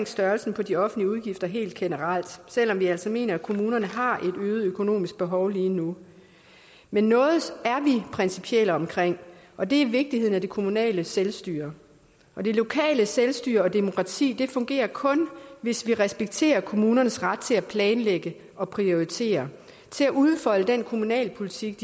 størrelsen på de offentlige udgifter helt generelt selv om vi altså mener at kommunerne har et øget økonomisk behov lige nu men noget er vi principielle omkring og det er vigtigheden af det kommunale selvstyre og det lokale selvstyre og demokrati fungerer kun hvis vi respekterer kommunernes ret til at planlægge og prioritere og udfolde den kommunalpolitik